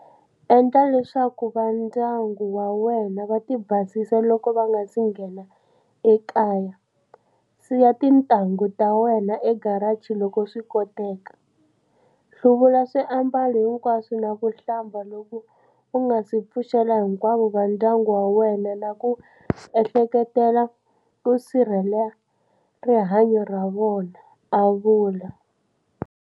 Endla leswaku vandyangu wa wena va ti basisa loko va nga si nghena ekaya, siya tintangu ta wena egaraji loko swikoteka, hluvula swiambalo hinkwaswo na ku hlamba loko u ngasi pfuxela hinkwavo vandyangu wa wena na ku ehleketelela ku sirhelela rihanyo ra vona, a vula.